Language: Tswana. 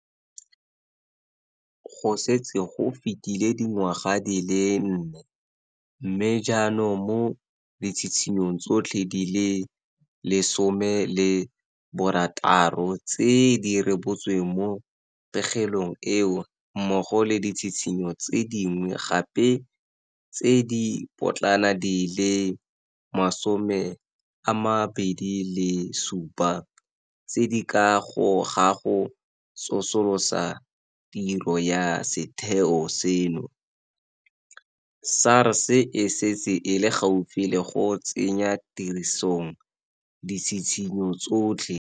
Go setse go fetile dingwaga di le nne, mme jaanong mo ditshitshinyong tsotlhe di le 16 tse di rebotsweng mo pegelong eo mmogo le ditshitshinyo tse dingwe gape tse di potlana di le 27 tse di ka ga go tsosolosa tiro ya setheo seno, SARS e setse e le gaufi le go tsenya tirisong ditshitshinyo tsotlhe.